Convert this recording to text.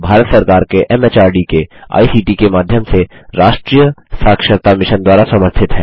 यह भारत सरकार के एमएचआरडी के आईसीटी के माध्यम से राष्ट्रीय साक्षरता मिशन द्वारा समर्थित है